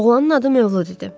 Oğlanın adı Mövlud idi.